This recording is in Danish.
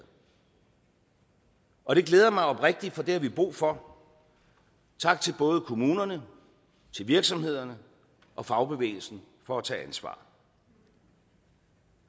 og det glæder mig oprigtigt for det har vi brug for tak til både kommunerne virksomhederne og fagbevægelsen for at tage ansvar